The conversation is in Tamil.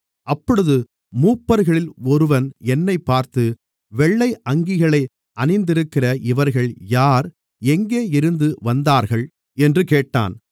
அப்பொழுது மூப்பர்களில் ஒருவன் என்னைப் பார்த்து வெள்ளை அங்கிகளை அணிந்திருக்கிற இவர்கள் யார் எங்கே இருந்து வந்தார்கள் என்று கேட்டான்